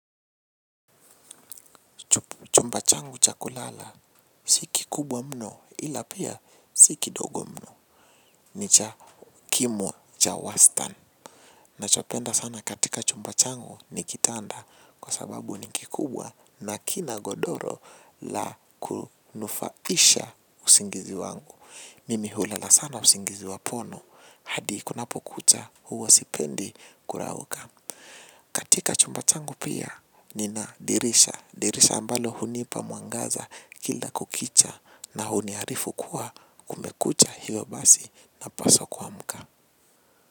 Chumba changu cha kulala si kikubwa mno ila pia si kidogo mno ni cha kimo cha wastan. Nachopenda sana katika chumba changu ni kitanda kwa sababu ni kikubwa na kina godoro la kunufaisha usingizi wangu. Mimi hulala sana usingizi wapono hadi kunapo kucha huwa sipendi kurauka. Katika chumba tangu pia nina dirisha. Dirisha ambalo hunipa mwangaza kila kukicha na huniarifu kuwa kumekucha hiyo basi napaso kuamka.